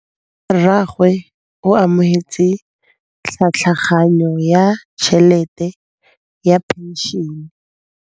Rragwe o amogetse tlhatlhaganyô ya tšhelête ya phenšene.